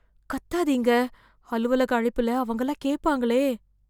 கத்தாதீங்க... அலுவலக அழைப்புல அவங்கல்லாம் கேப்பாங்களே...